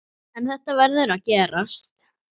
En þetta verður að gerast.